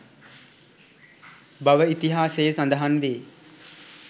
බව ඉතිහාසයේ සඳහන් වේ